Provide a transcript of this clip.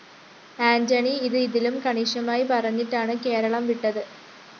ആന്റണി ഇത് ഇതിലും കണിശമായി പറഞ്ഞിട്ടാണ് കേരളം വിട്ടത്